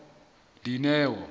dineo